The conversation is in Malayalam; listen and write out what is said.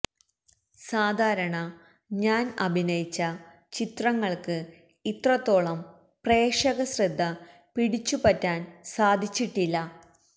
സാധാരണ ഞാന് അഭിനയിച്ച ചിത്രങ്ങള്ക്ക് ഇത്രത്തോളം പ്രേക്ഷക ശ്രദ്ധ പിടിച്ചുപറ്റാന് സാധിച്ചിട്ടില്ല